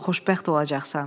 Xoşbəxt olacaqsan.